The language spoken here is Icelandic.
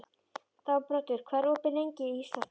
Þangbrandur, hvað er opið lengi í Íslandsbanka?